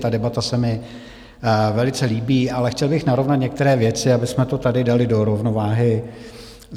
Ta debata se mi velice líbí, ale chtěl bych narovnat některé věci, abychom to tady dali do rovnováhy.